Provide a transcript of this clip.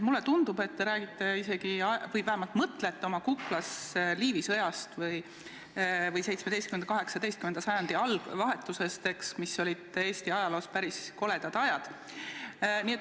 Mulle tundub, et teil tiksuvad kuklas Liivi sõja või 17. ja 18. sajandi vahetuse ajad, mis Eesti ajaloos olid päris koledad.